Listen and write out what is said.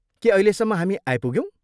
के अहिलेसम्म हामी आइपुग्यौँ?